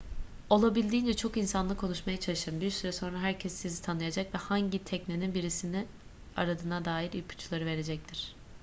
olabildiğince çok insanla konuşmaya çalışın bir süre sonra herkes sizi tanıyacak ve hangi teknenin birisini aradığına dair ipuçları verecektir